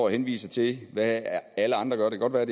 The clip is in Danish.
henviser til hvad alle andre gør